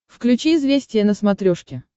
включи известия на смотрешке